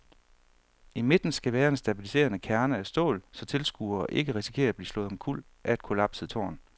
I midten skal være en stabiliserende kerne af stål, så tilskuere ikke risikerer at blive slået omkuld af et kollapset tårn.